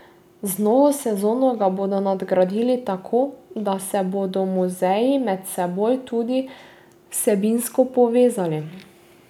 Z novo sezono ga bodo nadgradili tako, da se bodo muzeji med seboj tudi vsebinsko povezali.